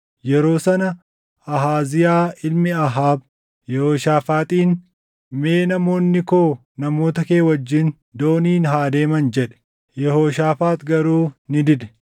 Yeroo sana Ahaaziyaa ilmi Ahaab Yehooshaafaaxiin, “Mee namoonni koo namoota kee wajjin dooniin haa deeman” jedhe; Yehooshaafaax garuu ni dide.